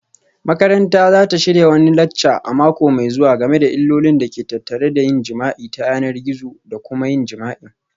Makaranta za ta shirya wani lacca a mako mai zuwa game da illolin da ke tattare da yin jima'i ta yanar gizo da kuma yin jima'i